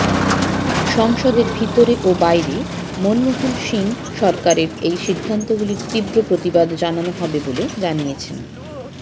সংসদের ভিতরে ও বাইরে মনমোহন সিং সরকারের এই সিদ্ধান্তগুলির তীব্র প্রতিবাদ জানানো হবে বলে জানিয়েছে